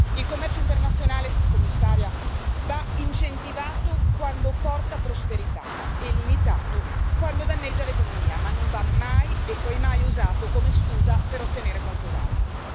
Il commercio internazionale, commissaria, va incentivato quando porta prosperità, e limitato quando danneggia l'economia, ma non va mai e poi mai usato come scusa per ottenere qualcos'altro.